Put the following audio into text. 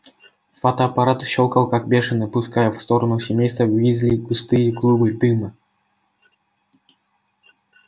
фотоаппарат щёлкал как бешеный пуская в сторону семейства уизли густые клубы дыма